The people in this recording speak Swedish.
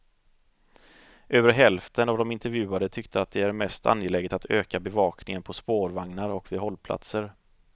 Över hälften av de intervjuade tyckte att det är mest angeläget att öka bevakningen på spårvagnar och vid hållplatser.